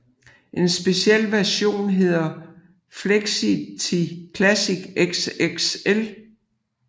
En speciel version hedder Flexity Classic XXL